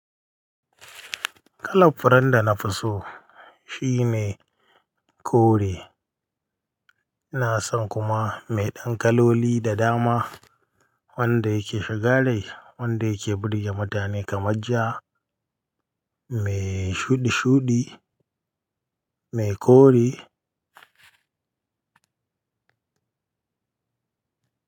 Kalar furen da na fi so shine kore. Ina son kuma mai dankaloli da dama wanda yake shiga rai, wanda yake burge mutane kamar ja, mai shudi-shudi, mai kore.